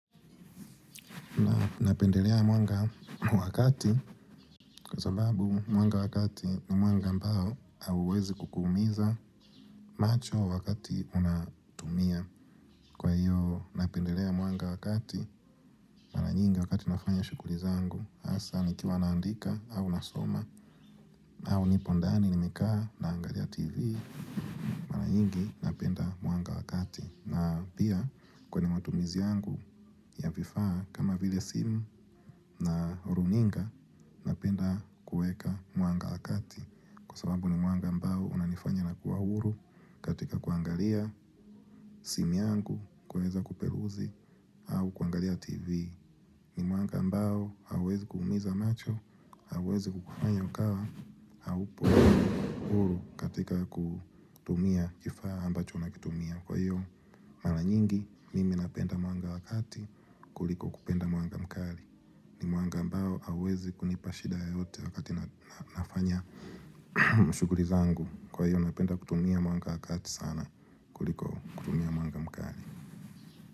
Napendelea mwanga wakati kwa sababu mwanga wakati ni mwanga ambao hauwezi kukumiza macho wakati unatumia. Kwa hiyo, napendelea mwanga wakati, maranyingi wakati nafanya shughulizangu, hasa ni kiwa naandika au nasoma, au nipondani nimekaa na angalia tv, maranyingi napenda mwanga wakati. Na pia kwenye matumizi yangu ya vifaa kama vile simu na runinga ninapenda kuweka mwanga wa kati Kwa sababu ni mwanga ambao hunanifanya na kuwa huru katika kuangalia simu yangu kuweza kuperuzi au kuangalia tv ni mwanga ambao hauwezi kuumiza macho hauwezi kukufanya ukawa haupo huru katika kutumia kifaa ambacho unakitumia Kwa hiyo mara nyingi mimi napenda mwanga wa kati kuliko kupenda mwanga mkari ni mwanga ambao hauwezi kunipashida yoyote wakati nafanya shughuri zangu Kwa hiyo napenda kutumia mwanga wakati sana kuliko kutumia mwanga mkari.